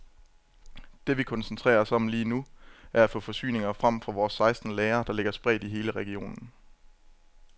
Det vi koncentrerer os om lige nu, er at få forsyninger frem fra vores seksten lagre, der ligger spredt i hele regionen.